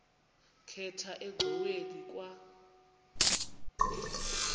khatha engxoweni kwa